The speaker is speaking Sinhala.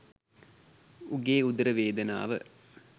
උගේ උදර වේදනාව